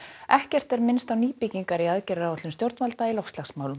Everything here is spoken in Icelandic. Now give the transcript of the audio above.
ekkert er minnst á nýbyggingar í aðgerðaáætlun stjórnvalda í loftslagsmálum